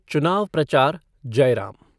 चुनाव प्रचार जयराम